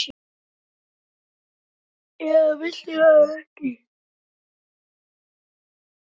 eða viltu það ekki?